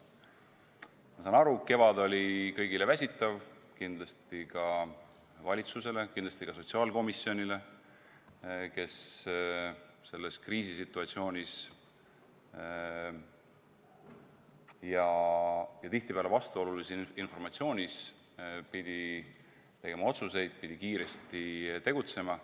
Ma saan aru, kevad oli kõigile väsitav, kindlasti ka valitsusele, kindlasti ka sotsiaalkomisjonile, kes selles kriisisituatsioonis ja tihtipeale vastuolulise informatsiooniga pidi tegema otsuseid, pidi kiiresti tegutsema.